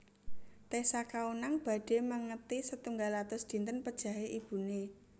Tessa Kaunang badhe mengeti setunggal atus dinten pejahe ibune